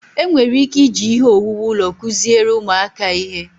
enwere ike iji ihe owuwu ụlọ kụziere ụmụaka ihe